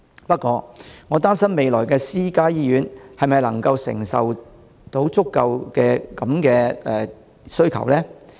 不過，我擔心未來私家醫院是否能夠承受這種需求呢？